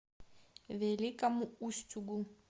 великому устюгу